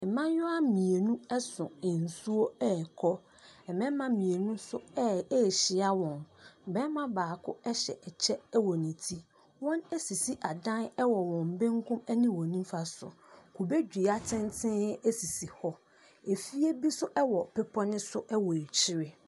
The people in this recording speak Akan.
Mmaayewa mmienu so nsuo ɛrekɔ, na mmarima mmienu nso ɛ ɛrehyia wɔn. barima baako hyɛ kyɛ wɔ ne ti. Wɔasisi adan wɔ wɔn bankum ne wɔn nifa so. Kubedua tenten sisi hɔ, fie bi nso wɔ bepɔ ne so wɔ akyire.